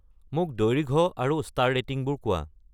মোক দৈৰ্ঘ্য আৰু ষ্টাৰ ৰেটিংবোৰ কোৱা